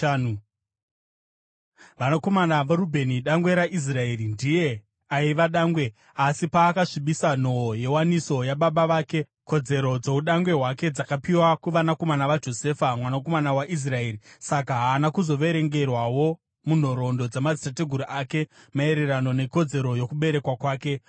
Vanakomana vaRubheni dangwe raIsraeri. (Ndiye aiva dangwe, asi paakasvibisa nhoo yewaniso yababa vake, kodzero dzoudangwe hwake dzakapiwa kuvanakomana vaJosefa mwanakomana waIsraeri; saka haana kuzoverengerwawo munhoroondo dzamadzitateguru ake maererano nekodzero yokuberekwa kwake.